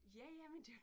Ja ja men det